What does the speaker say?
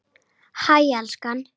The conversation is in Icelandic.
Hæ, elskan.